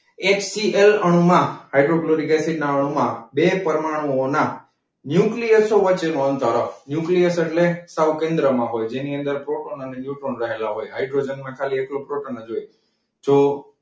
એક HCL અણુમાં hydrochloric acid ના અણુમાં બે પરમાણુમાં nucleus વચ્ચેનું અંતર. ન્યુક્લિયસ એટલે સાવ કેન્દ્રમાં હોય. જેની અંદર પ્રોટોન અને ન્યુટ્રોન રહેલા હોય હાઇડ્રોજનમાં ખાલી એકલો પ્રોટોન જ હોય. તો,